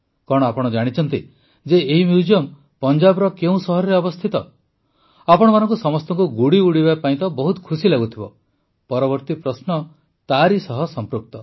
କଣ ଆପଣ ଜାଣିଛନ୍ତି ଯେ ଏହି ମ୍ୟୁଜିୟମ୍ ପଞ୍ଜାବର କେଉଁ ସହରରେ ଅବସ୍ଥିତ ଆପଣମାନଙ୍କୁ ସମସ୍ତଙ୍କୁ ଗୁଡ଼ି ଉଡ଼ାଇବା ପାଇଁ ତ ବହୁତ ଖୁସି ଲାଗୁଥିବ ପରବର୍ତ୍ତୀ ପ୍ରଶ୍ନ ତା ସହ ସଂପୃକ୍ତ